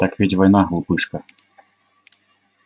так ведь война глупышка